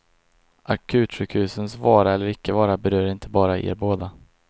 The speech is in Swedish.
Akutsjukhusens vara eller icke vara berör inte bara er båda.